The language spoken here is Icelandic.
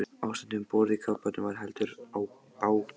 Ástandið um borð í kafbátnum var heldur bágborið.